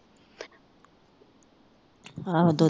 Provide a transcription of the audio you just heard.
ਆਹੋ ਦੁਧ